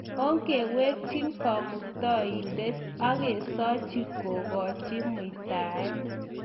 onge wekjin kamuktaindet agesoji kugoji muitaet.